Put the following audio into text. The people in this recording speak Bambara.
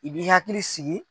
I b'i hakili sigi.